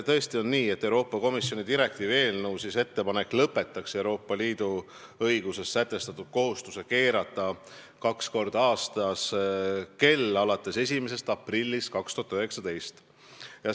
Tõesti on nii, et Euroopa Komisjoni direktiivi eelnõus on ettepanek lõpetada alates 1. aprillist 2019 seni Euroopa Liidu õiguses kehtiv kohustus keerata kaks korda aastas kella.